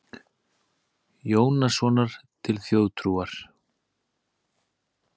Jónssonar til þjóðtrúar.